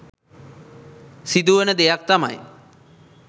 සිදුවන දෙයක් තමයි